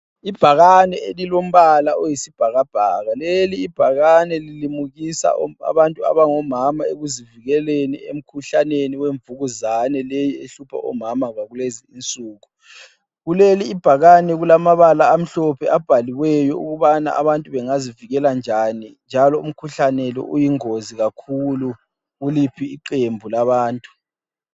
Ibhakane elilombala oyisibhakabhaka. Lelibhakane lilimukisa abantu abangomama ekuzivikeleni emkhuhlaneni wemvukuzane leyi ehlupha omama kulezi insuku. Kuleli ibhakane kulamabala amhlophe abhaliweyo ukubana abantu bengazivikela njani njalo umkhuhlane lo uyingozi kakhulu kuliphi iqembu labantu.